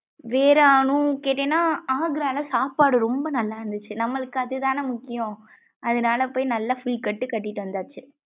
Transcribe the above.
வேற அனு கேட்டினாஆக்ரால சாப்பாடு ரொம்ப நல்லா இருந்துசு நம்மளுக்கு அது தான முக்கியம் அதுனால போயி நல்லா full கட்டு கட்டிட்டு வந்தாச்சு.